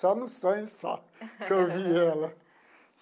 Só no sonho só que eu vi ela.